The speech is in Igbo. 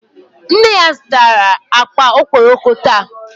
Nne ya zutara akpa okpokoro taa.